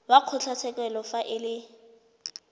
wa kgotlatshekelo fa e le